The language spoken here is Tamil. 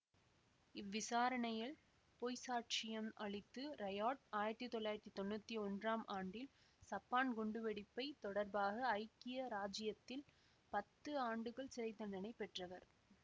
இவ்விசாரணையில் பொய்ச்சாட்சியம் அளித்த ரெயாட் ஆயிரத்தி தொள்ளாயிரத்தி தொன்னூத்தி ஒன்றாம் ஆண்டில் சப்பான் குண்டுவெடிப்புத் தொடர்பாக ஐக்கிய இராச்சியத்தில் பத்து ஆண்டுகள் சிறை தண்டனை பெற்றவர்